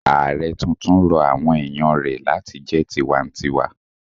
Ààrẹ tuntun rọ àwọn èèyàn rẹ̀ láti jẹ́ tinwatinwa